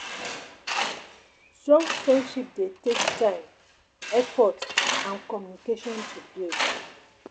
Strong Friendship dey take time, effort and communication to build